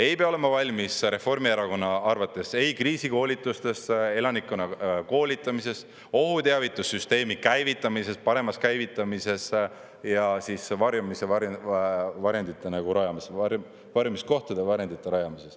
Ei pea olema valmis Reformierakonna arvates ei kriisikoolitusteks, elanikkonna koolitamiseks, ohuteavitussüsteemi paremaks käivitamiseks ja varjendite rajamiseks, varjumiskohtade rajamiseks.